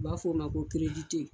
U b'a fɔ o ma ko